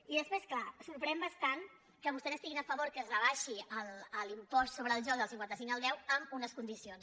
i després clar sorprèn bastant que vostès estiguin a favor que es rebaixi l’impost sobre el joc del cinquanta cinc al deu amb unes condicions